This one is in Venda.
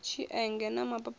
tshienge na mapapawe i a